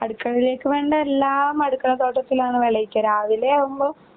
അടുക്കളയിലേക്ക് വേണ്ട എല്ലാം അടുക്കളത്തോട്ടത്തിലാണ് വിളയിക്കുക. രാവിലെയാകുമ്പൊ